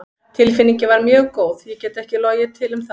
Tilfinningin var mjög góð, ég get ekki logið til um það.